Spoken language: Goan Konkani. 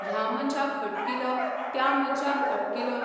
ह्या मनशाक हटकिलो त्या मनशाक हटकिलो.